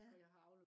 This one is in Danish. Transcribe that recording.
ja